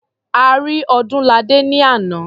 A rí Ọdúnladé ní àná.